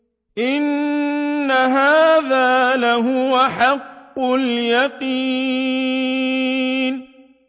إِنَّ هَٰذَا لَهُوَ حَقُّ الْيَقِينِ